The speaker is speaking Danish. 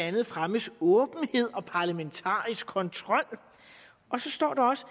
andet fremmes åbenhed og parlamentarisk kontrol og så står der også